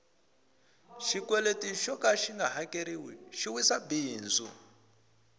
xikweleti xoka xinga hakeriwi xi wisa bindzu